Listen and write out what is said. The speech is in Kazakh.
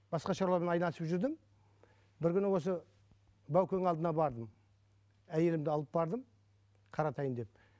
басқа шаруамен айналысып жүрдім бір күні осы баукеңнің алдына бардым әйелімді алып бардым қаратайын деп